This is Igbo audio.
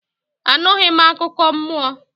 Anughi m akụkọ mmụọ